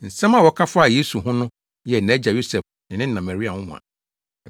Nsɛm a wɔka faa Yesu ho no yɛɛ nʼagya Yosef ne ne na Maria nwonwa.